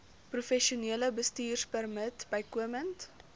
professionele bestuurpermit bykomend